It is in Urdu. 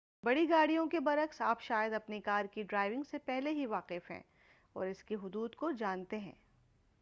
بڑی گاڑیوں کے برعکس آپ شاید اپنی کار کی ڈرائیونگ سے پہلے ہی واقف ہیں اور اس کی حدود کو جانتے ہیں